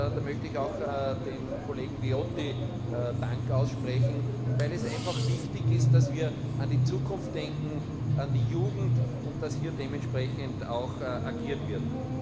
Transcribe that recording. Da möchte ich auch dem Kollegen Viotti Dank aussprechen, weil es einfach wichtig ist, dass wir an die Zukunft denken, an die Jugend, und dass hier dementsprechend auch agiert wird.